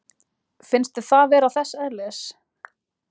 Finnst þér það vera þess eðlis?